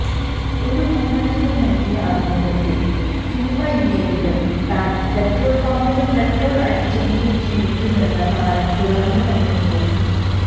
ഒരു മാധ്യമത്തിനു നല്കിയ അഭിമുഖത്തില് സിനിമയില്ലെങ്കിലും താന് പട്രോള് പമ്പില് പട്രോള് അടിച്ചെങ്കിലും ജീവിക്കുമെന്ന് താരം തുറന്നു പറയുന്നു